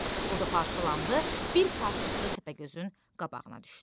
O da parçalandı, bir parçası Təpəgözün qabağına düşdü.